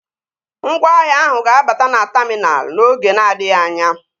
Ngwaahịa ahụ ga-abata na taminal n'oge na-adịghị anya